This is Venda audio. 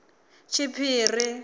tshiphiri